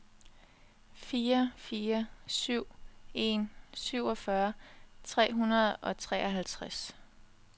fire fire syv en syvogfyrre tre hundrede og treoghalvtreds